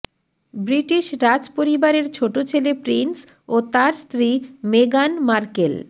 British রাজ পরিবারের ছোট ছেলে প্রিন্স ও তার স্ত্রী মেগান মার্কেল